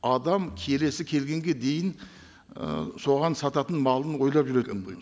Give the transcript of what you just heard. адам келесі келгенге дейін ы соған сататын малын ойлап жүр